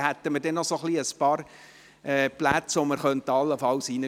Somit hätten wir allenfalls noch ein paar Plätze zur Verfügung.